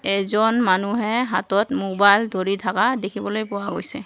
এজন মানুহে হাতত মোবাইল ধৰি থাকা দেখিবলৈ পোৱা গৈছে।